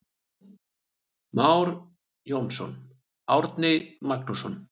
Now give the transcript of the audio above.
Már Jónsson, Árni Magnússon.